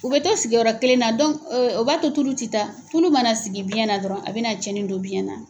U bɛ to sigiyɔrɔ kelen na o b'a to tulu tɛ taa, tulu mana sigi biɲɛ na dɔrɔn a bɛna tiɲɛni don biɲɛ na.